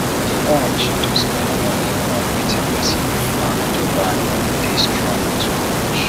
di urge to spend money on wetin person no plan to buy dey strong too much